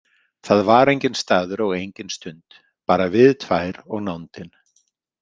Það var enginn staður og engin stund, bara við tvær og nándin.